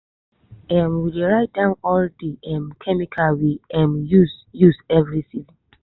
um we dey write down all the um chemical we um use use every season.